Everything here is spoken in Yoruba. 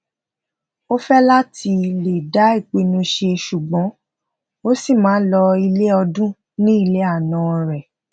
ọ fe lati le da ipinu se sugbon o si maa n lo ile ọdun ni ile anan rẹ